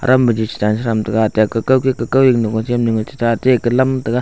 tam maji cha cha tega taihkam kam ma kekam mihnu jan tega.